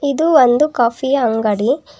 ಇದು ಒಂದು ಕಾಫಿ ಯ ಅಂಗಡಿ.